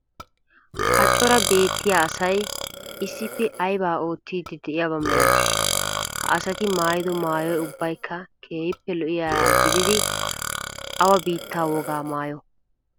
Ha cora beettiya asay issippe aybaa oottiiddi de'iyaba milatii? Ha asati maayido maayoy ubbaykka keehippe lo"iyagaa gidid awa biittaa wogaa maayoo?